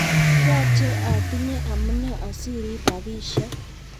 yoche otinye amune osiriip rabishek